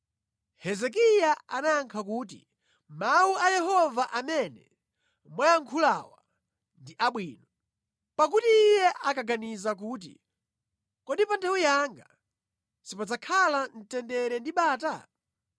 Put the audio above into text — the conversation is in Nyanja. Hezekiya anayankha kuti, “Mawu a Yehova amene mwayankhulawa ndi abwino. Pakuti iye ankaganiza kuti, ‘Kodi pa nthawi yanga sipadzakhala mtendere ndi bata?’ ”